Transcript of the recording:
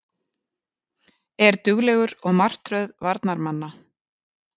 Er duglegur og martröð varnarmanna.